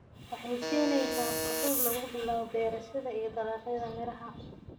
Waxay siinaysaa fursad lagu bilaabo beerashada iyo dalagyada miraha.